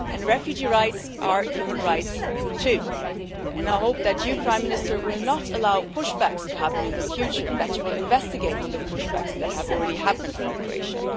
Refugee rights are human rights too, and I hope that you, Prime Minister, will not allow push-backs to happen in the future and that you will investigate the push-backs that have already happened from Croatia.